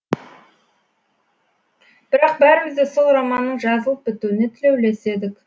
бірақ бәріміз де сол романның жазылып бітуіне тілеулес едік